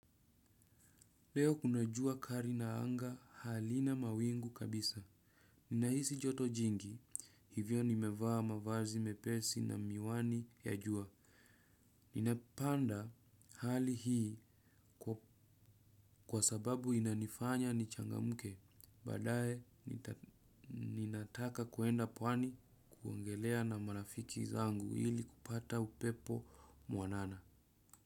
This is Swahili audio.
Leo kuna jua kali na anga halina mawingu kabisa. Ninahisi joto jingi, hivyo nimevaa mavazi mepesi na miwani ya jua. Ninapanda hali hii kwa sababu inanifanya niichangamke. Baadaye, ninataka kwenda pwani kuogelea na marafiki zangu hili kupata upepo mwanana.